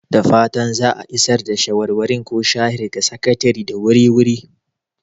Da fatan za a isar da shawarwari ko sharhi ga Sakatare da wuri-wuri!